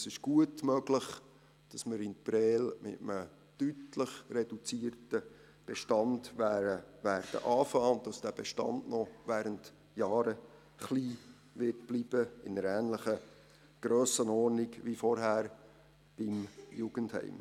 Es ist gut möglich, dass wir in Prêles mit einem deutlich reduzierten Bestand beginnen werden und dass dieser Bestand noch während Jahren klein bleiben wird – in einer ähnlichen Grössenordnung wie vorher im Jugendheim.